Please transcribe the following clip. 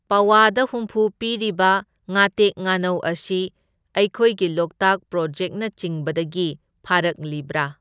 ꯄꯋꯥꯗ ꯍꯨꯝꯐꯨ ꯄꯤꯔꯤꯕ ꯉꯥꯇꯦꯛ ꯉꯥꯅꯧ ꯑꯁꯤ ꯑꯩꯈꯣꯏꯒꯤ ꯂꯣꯛꯇꯥꯛ ꯄ꯭ꯔꯣꯖꯦꯛꯅꯆꯤꯡꯕꯗꯒꯤ ꯐꯥꯔꯛꯂꯤꯕꯔꯥ?